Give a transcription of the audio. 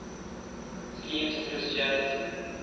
schisms in christianity